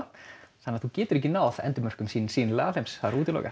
þannig að þú getur ekki náð endimörkum hins sýnilega alheims það er útilokað